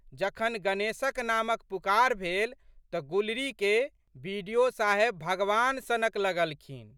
जखन गणेशक नामक पुकार भेल तऽ गुलरीके बि.डि.ओ.साहेब भगवान सनक लगलखिन।